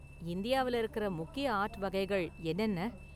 இந்தியாவுல இருக்குற முக்கிய​ ஆர்ட் வகைகள் என்னென்ன​?